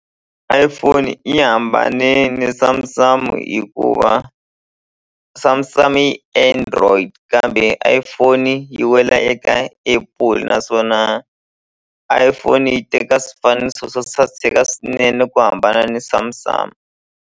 iPhone yi hambane ni Samsung hikuva Samsung yi Android kambe iPhone yi wela eka Apple naswona iPhone yi teka swifaniso swo saseka swinene ku hambana ni Samsung.